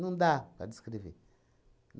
Não dá para descrever.